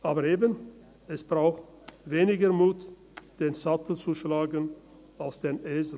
Aber eben, es braucht weniger Mut, den Sattel zu schlagen als den Esel.